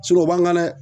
o b'an kan dɛ